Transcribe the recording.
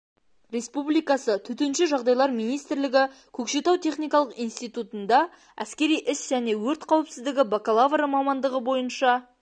республикасы төтенше жағдайлар министрлігі көкшетау техникалық институтында әскери іс және өрт қауіпсіздігі бакалавры мамандығы бойынша